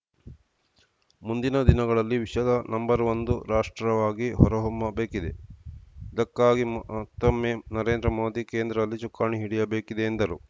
ಮುಂದಿನ ದಿನಗಳಲ್ಲಿ ವಿಶ್ವದ ನಂಒಂದು ರಾಷ್ಟ್ರವಾಗಿ ಹೊರಹೊಮ್ಮಬೇಕಿದೆ ಇದಕ್ಕಾಗಿ ಮತ್ತೊಮ್ಮೆ ನರೇಂದ್ರ ಮೋದಿ ಕೇಂದ್ರದಲ್ಲಿ ಚುಕ್ಕಾಣಿ ಹಿಡಿಯಬೇಕಿದೆ ಎಂದರು